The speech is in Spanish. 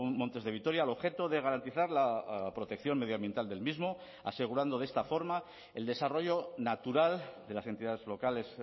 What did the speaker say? montes de vitoria al objeto de garantizar la protección medioambiental del mismo asegurando de esta forma el desarrollo natural de las entidades locales